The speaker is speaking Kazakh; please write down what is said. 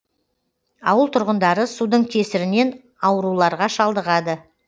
ауыл тұрғындары судың кесірінен ауруларға шалдығады